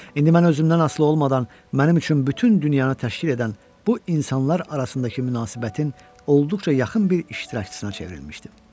İndi mən özümdən asılı olmadan mənim üçün bütün dünyanı təşkil edən bu insanlar arasındakı münasibətin olduqca yaxın bir iştirakçısına çevrilmişdim.